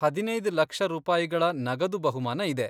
ಹದಿನೈದ್ ಲಕ್ಷ ರೂಪಾಯಿಗಳ ನಗದು ಬಹುಮಾನ ಇದೆ.